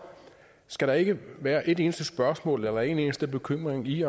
skal der ikke være et eneste spørgsmål eller en eneste bekymring i